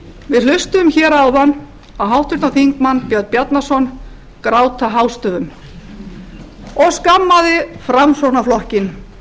við hlustuðum hér áðan á háttvirtur þingmaður björn bjarnason gráta hástöfum og skammaði framsóknarflokkinn